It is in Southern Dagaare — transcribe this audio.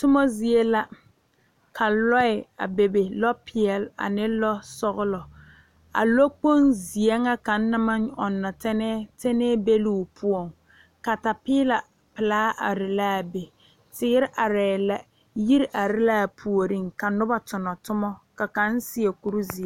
Tommo zie la ka lɔɛ a bebe lɔ peɛle ane lɔ sɔglɔ a lɔ kpoŋ zeɛ ŋa kaŋ na maŋ ɔŋnɔ tɛne tɛnɛɛ be loo poɔŋ katapiila laa are laa be teere arɛɛ la yiri are laa puoriŋ ka nobɔ tonɔ tommo ka kaŋ seɛ kurizeɛ.